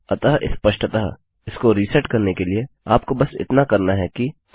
अब स्पष्टतःइसको रिसेटकरने के लिए आपको बस इतना करना है कि आह